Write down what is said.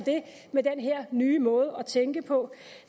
med den her nye måde at tænke på